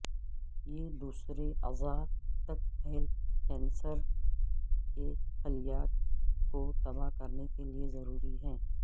یہ دوسرے اعضاء تک پھیل کینسر کے خلیات کو تباہ کرنے کے لئے ضروری ہے